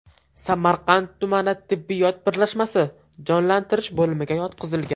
Samarqand tumani tibbiyot birlashmasi jonlantirish bo‘limiga yotqizilgan.